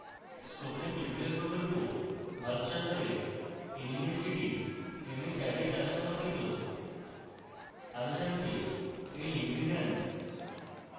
spoken tutorial প্রকল্প ভারত সরকারের nmeict mhrd দ্বারা সমর্থিত আরো জানতে এই লিঙ্কে যান